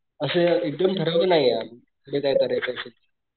असं एकदम ठरवलं नाही पुढं काय करायचं असं,